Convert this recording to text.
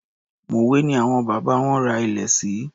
Mòwé ni àwọn bàbá wọn ra ilẹ̀ sí.